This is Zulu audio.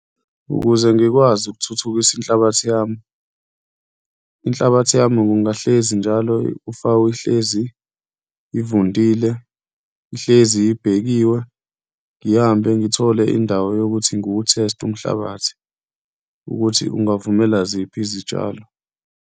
Ukuze ngikwazi ukuthuthukisa inhlabathi yami, inhlabathi yami kungahlezi njalo ihlezi ivundile, ihlezi ibhekiwe. Ngihambe ngithole indawo yokuthi ngiwutheste umhlabathi ukuthi ungavumela ziphi izitshalo.